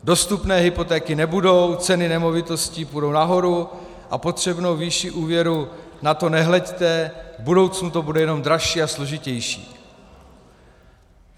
Dostupné hypotéky nebudou, ceny nemovitostí půjdou nahoru a potřebnou výši úvěru - na to nehleďte, v budoucnu to bude jenom dražší a složitější."